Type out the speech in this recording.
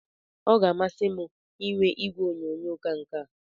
Ọ ga-amasị m inwe igwe onyonyo ka nke a